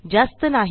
जास्त नाही